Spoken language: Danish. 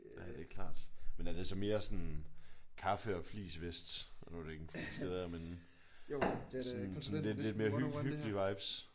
Ja det er klart. Men er det så mere sådan kaffe og fleecevest? Nu er det ikke fleece det der men sådan lidt mere sådan hyggelige vibes?